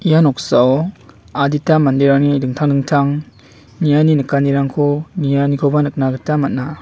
ia noksao adita manderangni dingtang dingtang niani nikanirangko nianikoba nikna gita man·a.